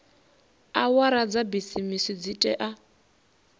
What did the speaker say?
awara dza bisimisi dzi tea